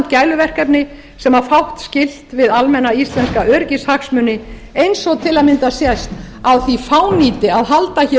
gæluverkefni sem á fátt skylt við almenna íslenska öryggishagsmuni eins og til að mynda sést á því fánýti að halda hér